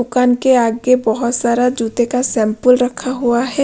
दुकान के आगे बहुत सारा जूते का सैंपल रखा हुआ है।